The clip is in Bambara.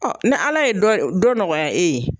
ni Ala ye dɔ nɔgɔya e ye